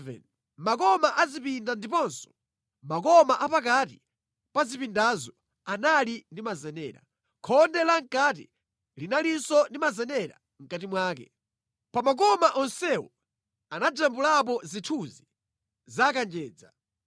Makoma a zipinda ndiponso makoma a pakati pa zipindazo anali ndi mazenera. Khonde lamʼkati linalinso ndi mazenera mʼkati mwake. Pa makoma onsewo anajambulapo zithunzi za kanjedza.